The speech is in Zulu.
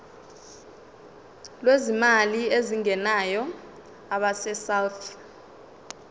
lwezimali ezingenayo abesouth